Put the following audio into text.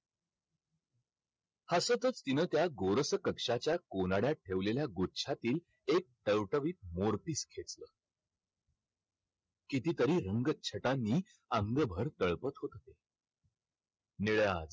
हसतच तिनं त्या गोरसं कक्षाच्या कोनाड्यात ठेवलेल्या गुच्छातील एक टवटवीत मोरपिस घेतलं. कितीतरी रंगछटांनी अंगभर तळपत होत होते. निळ्या